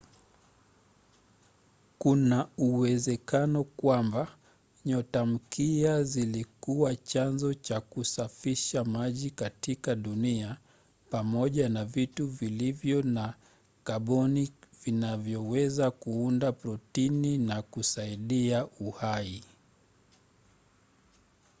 kuna uwezekano kwamba nyotamkia zilikuwa chanzo cha kusafirisha maji katika dunia pamoja na vitu vilivyo na kaboni vinavyoweza kuunda protini na kusaidia uhai